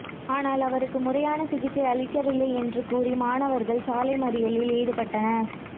ஆனால் அவருக்கு முறையான சிகிச்சை அளிக்கவில்லை என்று கூறி மாணவர்கள் சாலை மறியலில் ஈடுபட்டனர்